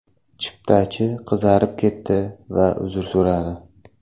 Chiptachi qizarib ketdi va uzr so‘radi”.